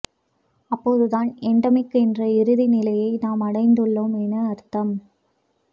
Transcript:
அப்போதுதான் எண்டெமிக் என்ற இறுதி நிலையை நாம் அடைந்துள்ளோம் என அர்த்தம்